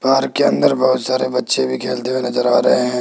Park के अंदर बहुत सारे बच्चे भी खेलते हुए नजर आ रहे हैं।